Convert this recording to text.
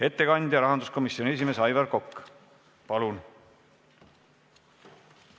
Ettekanda rahanduskomisjoni esimees Aivar Kokk, palun!